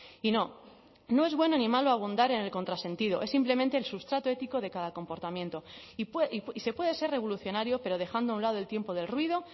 y no no es buen animal abundar en el contrasentido es simplemente el sustrato ético de cada comportamiento y se puede ser revolucionario pero dejando a un lado el tiempo del ruido